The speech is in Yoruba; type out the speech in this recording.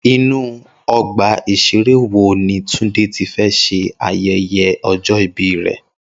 Inú ọgbà ìṣeré wo ni Túndé ti fẹ́ ṣe ayẹyẹ ọjọ́ ìbí rẹ̀?